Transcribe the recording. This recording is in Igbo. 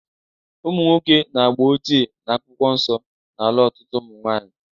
Ụmụnwoke nke agba ochie na Akwụkwọ Nsọ na-alụ ọtụtụ ụmụ nwaanyị